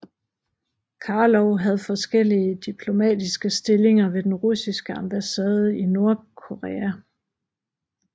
Karlov havde forskellige diplomatiske stillinger ved den russiske ambassade i Nordkorea